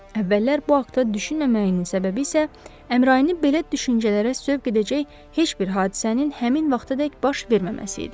Əvvəllər bu haqda düşünməməyinin səbəbi isə Əmrayini belə düşüncələrə sövq edəcək heç bir hadisənin həmin vaxtadək baş verməməsi idi.